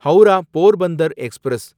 Howrah Porbandar express